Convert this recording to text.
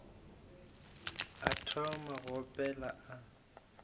a thoma go opela a